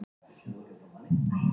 Skorið á heyrúllur